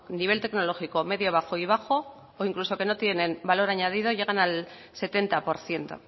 nivel tecnológico medio bajo y bajo o incluso que no tienen valor añadido llegan al setenta por ciento